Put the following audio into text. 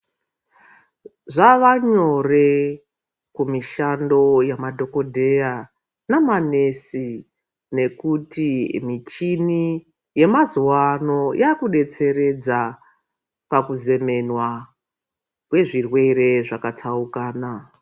Zvavanyore kumishando yemadhokodheya nemanesi nekuti michini yemazuwa ano yakudetseredza pakuzemenwa kwezvirwere zvakatsaukana.